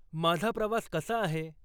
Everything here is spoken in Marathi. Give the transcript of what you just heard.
माझा प्रवास कसा आहे